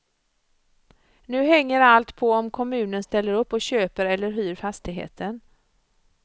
Nu hänger allt på om kommunen ställer upp och köper eller hyr fastigheten.